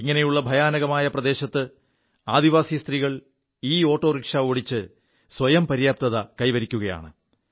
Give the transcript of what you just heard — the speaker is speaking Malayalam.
ഇങ്ങനെയുള്ള ഭയാനകമായ പ്രദേശത്ത് ആദിവാസി സ്ത്രീകൾ ഇഓോറിക്ഷാ ഓടിച്ച് സ്വയം പര്യാപ്തത കൈവരിക്കുകയാണ്